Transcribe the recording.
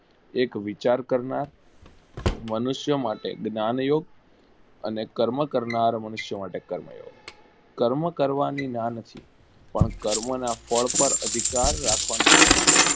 એક વિચાર કરનાર મનુષ્યો માટે જ્ઞાંગ યુક્ત અને કર્મ કરનાર મનુષ્યો માટે કર્મ કર્મ કરવાની ના નથી પણ કર્મ ના ફળ પર અધિકાર રાખવાની ના છે.